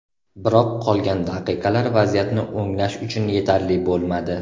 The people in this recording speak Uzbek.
Biroq qolgan daqiqalar vaziyatni o‘nglash uchun yetarli bo‘lmadi.